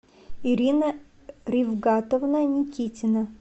ирина ривгатовна никитина